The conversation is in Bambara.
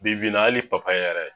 Bi bi in na hali yɛrɛ